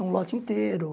Um lote inteiro.